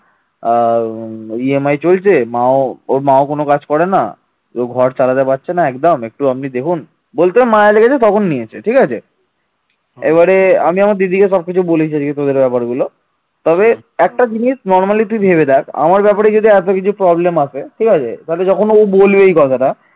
তবে একটা জিনিস normally তুই ভেবে দেখ আমার ব্যাপারে যদি এত কিছু problem আসে ঠিক আছে যখনই বলবে এই কথাটা